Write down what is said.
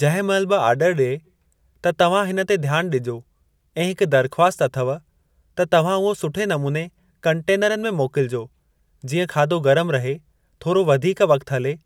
जंहिं महिल बि ऑडरु ॾिए त तव्हां हिन ते ध्यान ॾिजो ऐं हिक दरख़्वास्त अथव त तव्हां उहो सुठे नमूने कंटेनरनि में मोकलिजो जीअं खाधो गरमु रहे थोरो वधीक वक़्तु हले